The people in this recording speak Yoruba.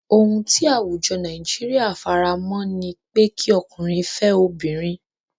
Ohun ti àwùjọ Nàìjíríà faramọ́ ni pé kí Ọkùnrin fẹ́ obìnrin.